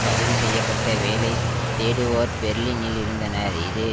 பதிவுசெய்யப்பட்ட வேலை தேடுவோர் பெர்லினில் இருந்தனர் இது